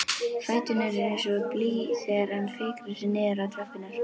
Fæturnir eins og blý þegar hann fikrar sig niður tröppurnar.